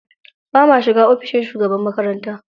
Ba ma shiga ofishin shugaban makaranta.